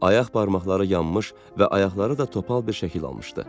Ayaq barmaqları yanmış və ayaqları da topal bir şəkil almışdı.